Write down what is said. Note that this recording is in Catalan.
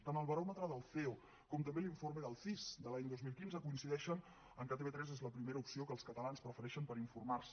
tant el baròmetre del ceo com també l’informe del cis de l’any dos mil quinze coincideixen que tv3 és la primera opció que els catalans prefereixen per informar se